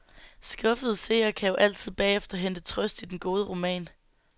Skuffede seere kan jo altid bagefter hente trøst i den gode roman.